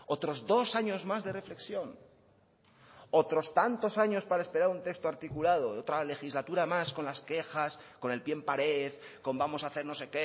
otros dos años más de reflexión otros tantos años para esperar un texto articulado de otra legislatura más con las quejas con el pie en pared con vamos a hacer no sé